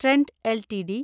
Trent LTD